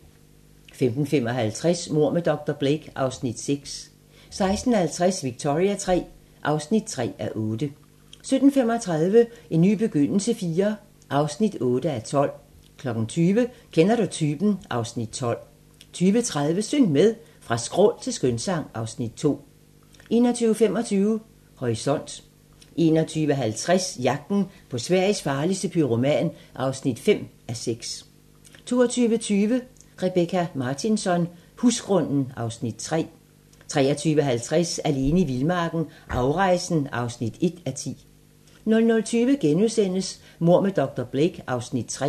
15:55: Mord med dr. Blake (Afs. 6) 16:50: Victoria III (3:8) 17:35: En ny begyndelse IV (8:12) 20:00: Kender du typen? (Afs. 12) 20:30: Syng med! Fra skrål til skønsang (Afs. 2) 21:25: Horisont 21:50: Jagten på Sveriges farligste pyroman (5:6) 22:20: Rebecka Martinsson: Husgrunden (Afs. 3) 23:50: Alene i vildmarken - afrejsen (1:10) 00:20: Mord med dr. Blake (Afs. 3)*